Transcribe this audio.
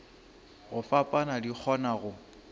go fapana di kgona go